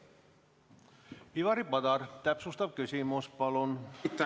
Ivari Padar, täpsustav küsimus, palun!